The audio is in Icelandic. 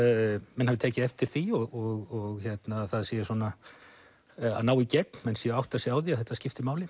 menn hafi tekið eftir því og það sé að ná í gegn menn séu að átta sig á því að þetta skiptir máli